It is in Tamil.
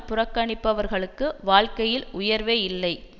புறக்கணிக்கப்பவர்களுக்கு வாழ்க்கையில் உயர்வே இல்லை